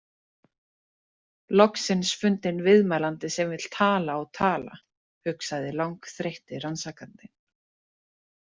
Loksins fundinn viðmælandi sem vill tala og tala, hugsaði langþreytti rannsakandinn.